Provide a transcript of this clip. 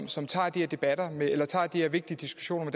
som tager de her vigtige diskussioner